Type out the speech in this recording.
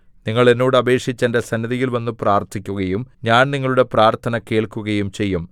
നിങ്ങൾ എന്നോട് അപേക്ഷിച്ച് എന്റെ സന്നിധിയിൽ വന്നു പ്രാർത്ഥിക്കുകയും ഞാൻ നിങ്ങളുടെ പ്രാർത്ഥന കേൾക്കുകയും ചെയ്യും